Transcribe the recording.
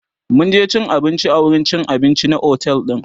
mun je cin abinci a wurin cin abinci na otel din